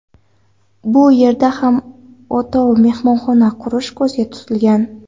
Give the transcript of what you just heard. Bu yerda ham o‘tov mehmonxona qurish ko‘zda tutilgan.